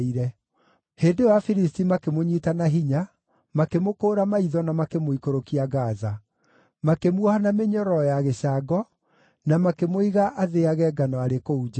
Hĩndĩ ĩyo Afilisti makĩmũnyiita na hinya, makĩmũkũũra maitho na makĩmũikũrũkia Gaza. Makĩmuoha na mĩnyororo ya gĩcango, na makĩmũiga athĩage ngano arĩ kũu njeera.